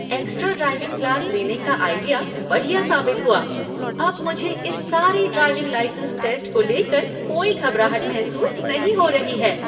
Extra driving class लेने का idea बढ़िया साबित हुआ! अब मुझे इस सारे ड्राइविंग लाइसेन्स टेस्ट को लेकर कोई घबराहट महसूस नहीं हो रही है।